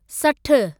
सठ